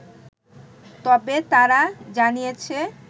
তবে, তারা জানিয়েছে